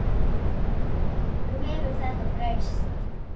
Viltu eitthvað svara því?